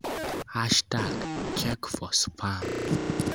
#Check4Spam